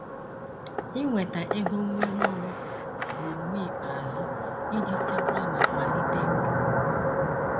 iweta ego nnwere onwe bụ omume ikpeazụ iji chekwaa ma kwalite ndụ.